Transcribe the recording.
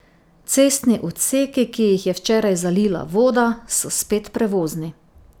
Cestni odseki, ki jih je včeraj zalila voda, so spet prevozni.